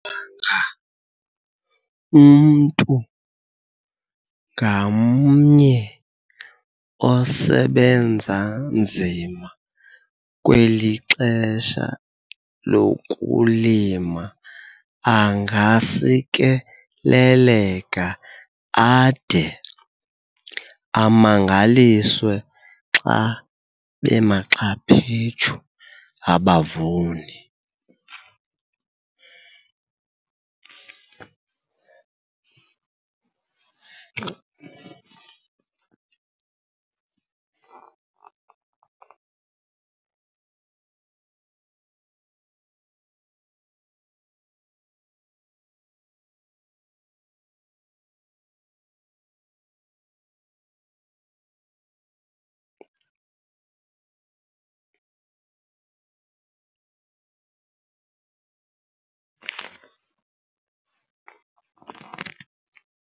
Wanga umntu ngamnye osebenza nzima kweli xesha lokulima angasikeleleka ade amangaliswe xa bemaxhaphetshu abavuni!